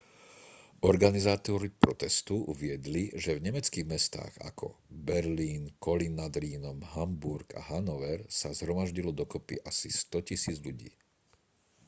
organizátori protestu uviedli že v nemeckých mestách ako berlín kolín nad rýnom hamburg a hanover sa zhromaždilo dokopy asi 100 000 ľudí